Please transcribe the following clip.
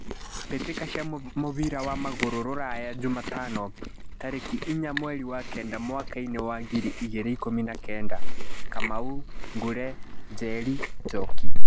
Mbĩtĩka cia mũbira wa magũrũ Ruraya Jumatano tarĩki inya mweri wa kenda mwakainĩ wa ngiri igĩrĩ na ikũmi na kenda: Kamau, Ngure, Njeri, Njoki.